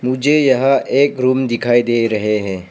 मुझे यह एक रूम दिखाई दे रहे हैं।